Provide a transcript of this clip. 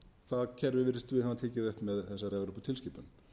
það kerfi virðumst við hafa tekið upp með þessari evróputilskipun